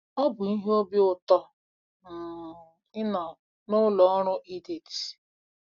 Ọ bụ ihe obi ụtọ um ịnọ na ụlọ ọrụ Edith.